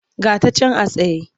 Ga ta can a tsaye.